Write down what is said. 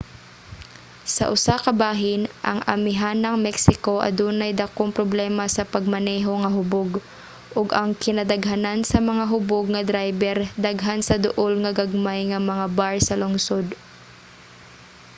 sa usa ka bahin ang amihanang mexico adunay dakong problema sa pagmaneho nga hubog ug ang kinadaghanan sa mga hubog nga drayber daghan sa duol nga gagmay nga mga bar sa lungsod